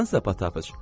Sən səpatapıç.